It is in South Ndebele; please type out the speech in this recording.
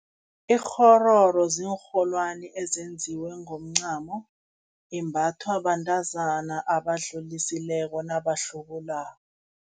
Ikghororo ziinrholwani ezenziwe ngomncamo, imbathwa bantazana abadlulisileko nabahlubulako.